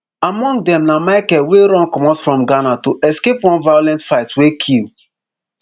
among dem na michael wey run comot from ghana to escape one violent fight wey kill